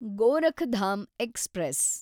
Gorakhdham express